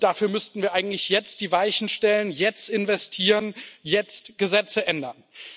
Dafür müssten wir eigentlich jetzt die Weichen stellen, jetzt investieren, jetzt Gesetze ändern.